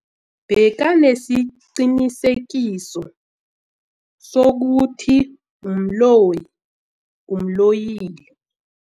Bekanesiqiniseko sokuthi umloyi umloyile.